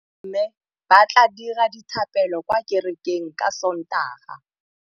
Bommê ba tla dira dithapêlô kwa kerekeng ka Sontaga.